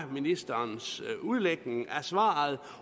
ministerens udlægning af svaret